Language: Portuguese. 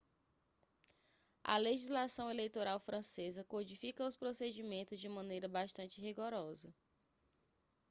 a legislação eleitoral francesa codifica os procedimentos de maneira bastante rigorosa